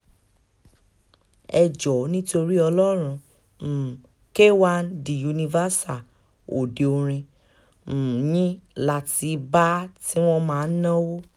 ẹ jọ̀ọ́ nítorí ọlọ́run um k1 dé universal òde orin um yín la ti bá a tí wọ́n máa ń náwó